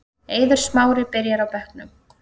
Eiður Smári byrjar á bekknum